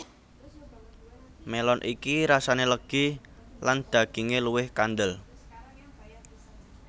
Melon iki rasane legi lan daginge luwih kandel